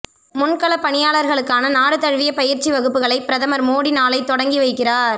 முன்களப் பணியாளர்களுக்கான நாடு தழுவிய பயிற்சி வகுப்புகளை பிரதமர் மோடி நாளை தொடங்கி வைக்கிறார்